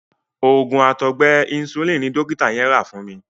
Òògùn àtọgbẹ Insulin ni dọ́kítà yẹn rà fún mi.